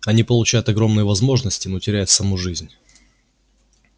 они получают огромные возможности но теряют саму жизнь